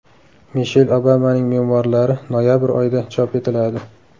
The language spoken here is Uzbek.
Mishel Obamaning memuarlari noyabr oyida chop etiladi.